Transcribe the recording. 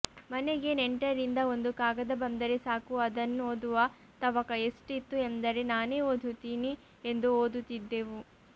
ಮನೆಗೆ ನೆಂಟರಿಂದ ಒಂದು ಕಾಗದ ಬಂದರೆ ಸಾಕು ಆಧನ್ನುಓದುವ ತವಕ ಎಸ್ಟಿತು ಎಂದರೆ ನಾನೆ ಓಧುತೀನಿ ಎಂದು ಓದುತಿದ್ದೇವು